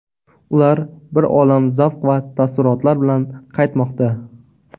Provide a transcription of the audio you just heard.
Ular bir olam zavq va taassurotlar bilan qaytmoqda.